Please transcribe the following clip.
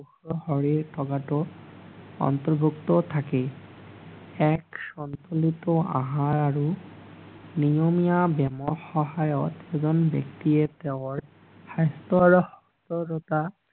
সুস্থ শৰীৰ থকাটো অত্নৰ্ভুক্ত থাকি এক সন্তোলিত আহাৰ আৰু নিয়মীয়া ব্যায়াম সহায়ত এজন ব্যক্তিয়ে তেওঁৰ স্বাস্থ্যৰ আৰু সুস্থৰতা